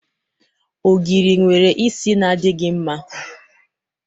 Ogiri nwere isi na-adịghị mma.